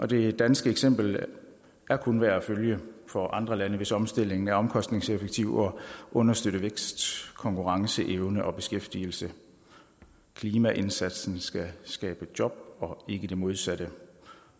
det danske eksempel er kun værd at følge for andre lande hvis omstillingen er omkostningseffektiv og understøtter vækst konkurrenceevne og beskæftigelse klimaindsatsen skal skabe job og ikke det modsatte